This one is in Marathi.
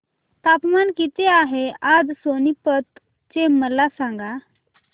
तापमान किती आहे आज सोनीपत चे मला सांगा